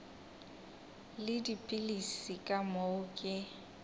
le dipilisi ka moo ke